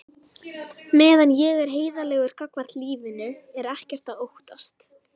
Meðan ég er heiðarlegur gagnvart lífinu er ekkert að óttast.